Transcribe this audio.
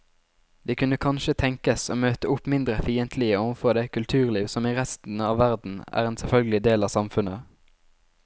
De kunne kanskje tenkes å møte opp mindre fiendtlige overfor det kulturliv som i resten av verden er en selvfølgelig del av samfunnet.